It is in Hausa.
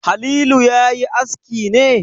Halilu ya yi aski ne?